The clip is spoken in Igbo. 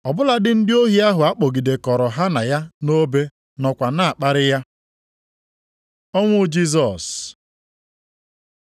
Ọ bụladị ndị ohi ahụ a kpọgidekọrọ ha na ya nʼobe nọkwa na-akparị ya. Ọnwụ Jisọs